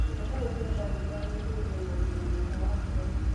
Iria mbeũ cia sunflower nĩguo ũgĩe na ũgima mwega wa ngoro.